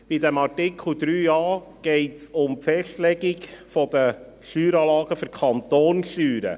In Absatz 3a geht es um die Festlegung der Steueranlagen für die Kantonssteuern.